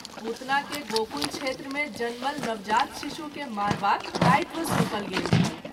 पुतना के गोकुल क्षेत्र मे जनमल नवजात शिशु के मारबाक दायित्व सौंपल गेल छल।